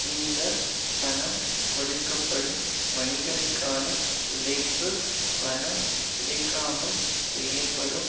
இந்த பணம் கொடுக்க படும் மணிகளுக்கான உழைப்பு பணம் கிடைக்காமல் செய்யப்படும்